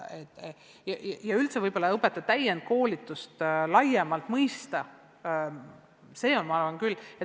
Ja võib-olla tuleks õpetaja täienduskoolitust üldse laiemalt mõista – ma arvan, et see on vajalik.